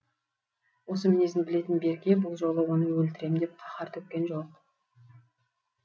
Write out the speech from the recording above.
осы мінезін білетін берке бұл жолы оны өлтірем деп қаһар төккен жоқ